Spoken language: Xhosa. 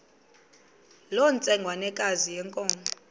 loo ntsengwanekazi yenkomo